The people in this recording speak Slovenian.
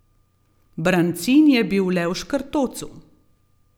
Brancin je bil le v škrtocu ...